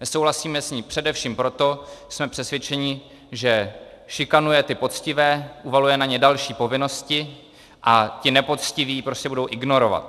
Nesouhlasíme s ní především proto, že jsme přesvědčeni, že šikanuje ty poctivé, uvaluje na ně další povinnosti a ti nepoctiví je prostě budou ignorovat.